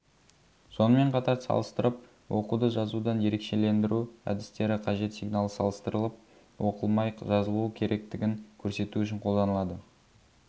сонымен қатар салыстырып оқуды жазудан ерекшелендіру әдістері қажет сигналы салыстырылып оқылмай жазылуы керектігін көрсету үшін қолданылады